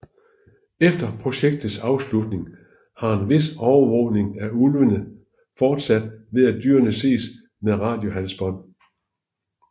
Efter projektets afslutning har en vis overvågning af ulvene fortsat ved at dyrene ses med radiohalsbånd